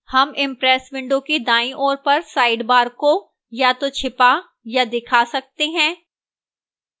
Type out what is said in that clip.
हम impress window की दाईं ओर पर sidebar को या तो छिया या दिखा सकते हैं